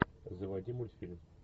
заводи мультфильм